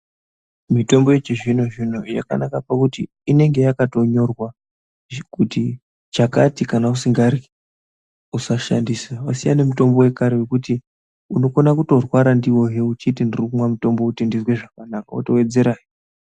Mitombo yechizvino zvino yakanaka pakuti inenge yakatonyorwa kuti chakati kana usingadhli usashandisa .Vasiyana nemutombo vekare vokuti unokona kutorwara ndiwoyo uchiti ndirikunwa mutombo kuti uzwe zvakanaka votovedzerahe .